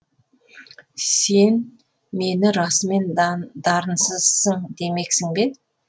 сен мені расымен дарынсызсың демексің бе